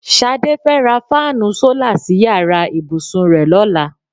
S̩adé fe̩ rá fáànù sólà sí yàrá ìbùsùn rè̩ ló̩la.